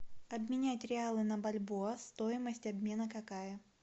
обменять реалы на бальбоа стоимость обмена какая